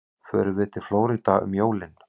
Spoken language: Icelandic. Förum við til Flórída um jólin?